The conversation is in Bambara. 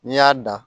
N'i y'a dan